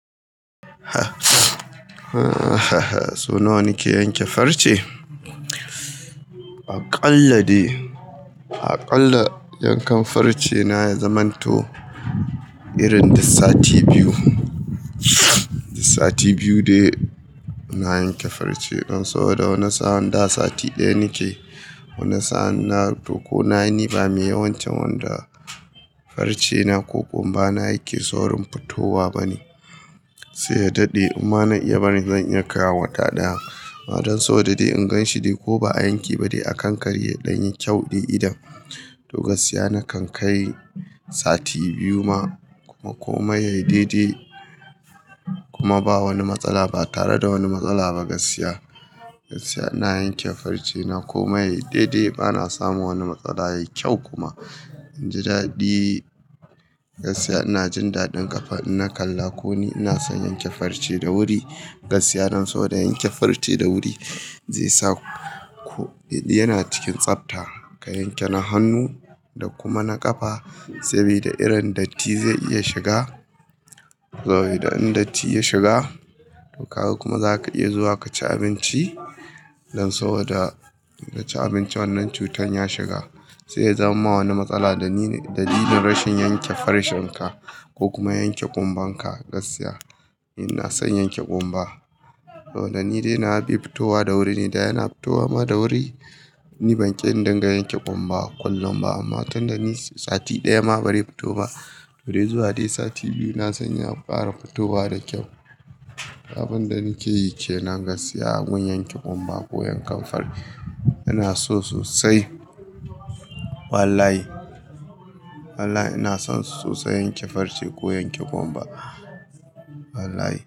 So nawa nike yanke farce? Akalla dai, akalla yankan farce na ya zamanto irin da sati biyu. Sati biyu dai na yanke farce. Dan sau da wani sa'a, da sati ɗaya nake. Wani sa'a na tuko nayi ni ba mai yawancin wanda farce na ko ƙumba na yake saurin fitowa bane. Sai ya dade amma na iya barin shi zan iya kaiwa wata ɗaya. Ba don sau da in gan shi dai ko ba a yanke ba dai a kankare don yin kyau dai idan. To gaskiya na kan kai sati biyu ma ko kuma ya yi dai dai kuma ba wani matsala, ba tare da wani matsala ba gaskiya. Gaskiya ina yanke farce na kuma yayi dai dai bana samun wani matsala, yayi kyau kuma. In ji daɗi gaskiya ina jin daɗin kafa ina kalla ko ni ina son yanke farce da wuri. Gaskiya dan sau da yanke farce da wuri, zai sa ku yana cikin tsafta, ka yanke na hannu da kuma na ƙafa sabida irin datti zai iya shiga. Kuma in datti ya shiga to ka kuma za ka iya zuwa ka ci abinci. Dan sau da ka ci abinci wannan cutan ya shiga. Sai ya jama wani matsala da ni ne dalilin rashin yanke farcen ka ko kuma yanke ƙumbar ka gaskiya. Ina son yanke ƙumba. To da ni dai nawa bai fitowa da wuri ne, da yana fitowa ma da wuri. Ni ban ƙi in dinga yanke ƙumba kullum ba amma tun da ni sati ɗaya ma bare fito ba. Bare zuwa dai sati biyu na san ya fara fitowa da kyau. Abin da nake yi ke nan gaskiya gun yanke ƙumba ko yankan farce. Ina so sosai. Wallahi, wallahi ina son su sosai yanke farce ko yanke ƙumba. Wallahi.